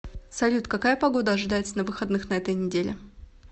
салют какая погода ожидается на выходных на этой неделе